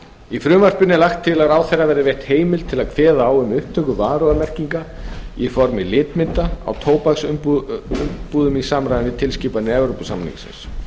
í frumvarpinu er lagt til að ráðherra verði veitt heimild til að kveða á um upptöku varúðarmerkinga í formi litmynda á tóbaksumbúðir í samræmi við tilskipun evrópusambandsins